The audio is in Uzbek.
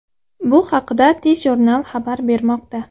Bu haqda TJournal xabar bermoqda.